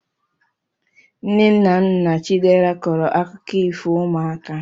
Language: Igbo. Nne na nna chidera kọọrọ akụkọ ifo ụmụaka